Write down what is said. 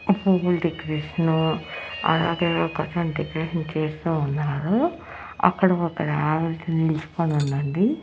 పువ్వుల డెకరేషను అలాగే ఒకతను డెకరేషన్ చేస్తూ ఉన్నారు అక్కడ ఒక నిల్చుకొని ఉందండి.